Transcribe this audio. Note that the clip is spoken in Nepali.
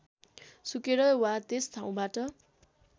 सुकेर वा त्यस ठाउँबाट